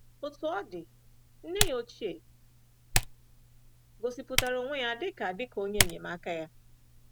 Otú ọ dị, nne ya ochie gosipụtara onwe ya dị ka dị ka onye enyemaka ya.